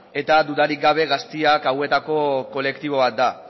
eta dudarik gabe gazteak hauetako kolektibo bat da